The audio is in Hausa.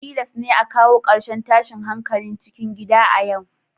Tilas ne a kawo karshen tashin hankalin cikin gida a yau